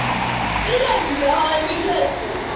Lemja hann í klessu.